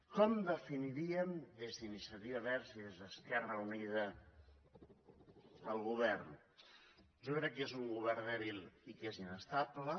com definiríem des d’iniciativa verds i des d’esquerra unida el govern jo crec que és un govern dèbil i que és inestable